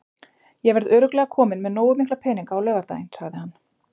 Ég verð örugglega kominn með nógu mikla peninga á laugardaginn, sagði hann.